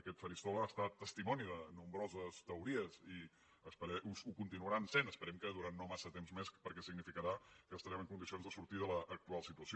aquest faristol ha estat testimoni de nombroses teori·es i ho continuarà sent esperem que durant no massa temps més perquè significarà que estarem en condi·cions de sortir de l’actual situació